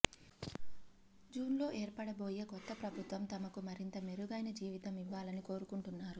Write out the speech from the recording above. జూన్లో ఏర్పడబోయే కొత్త ప్రభుత్వం తమకు మరింత మెరుగైన జీవితం ఇవ్వాలని కోరుకుంటున్నారు